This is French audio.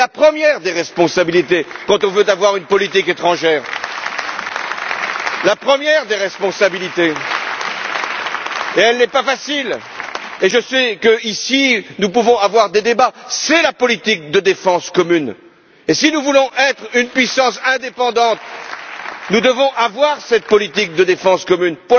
La première des responsabilités quand on veut avoir une politique étrangère et elle n'est pas facile et je sais que, ici, nous pouvons avoir des débats c'est la politique de défense commune et si nous voulons être une puissance indépendante, nous devons avoir cette politique de défense commune.